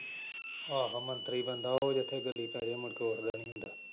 ਆਹੋ ਮੰਤਰੀ ਬੰਦਾ ਉਹ ਜਿੱਥੇ ਗੱਲੀਂ ਪੈ ਜਏ ਮੁੜ ਕੇ ਉੱਠਦਾ ਨਈਂ ਹੁੰਦਾ।